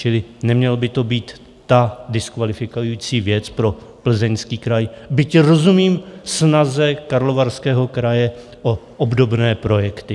Čili neměla by to být ta diskvalifikující věc pro Plzeňský kraj, byť rozumím snaze Karlovarského kraje o obdobné projekty.